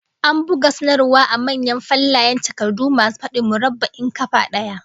An buga sanarwar a manyan fallayen takardu masu fadin murabba'in kafa daya